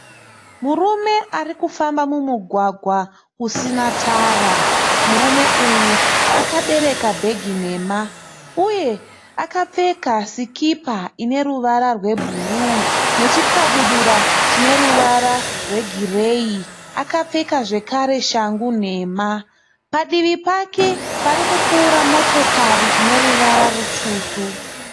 Murume arikufamba mumugwagwa usina tara. Murume uyu akabereka bhegi dema uye akapfeka sikipa ine ruvara rwe bhuruu nechikabudura chine ruvara rwe gireyi. Akapfeka zvekare Shang nhema. Padivi pake parikupfuura motokari ineruvara rutsvuku.